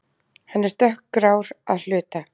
Hann er dökkgrár að hluta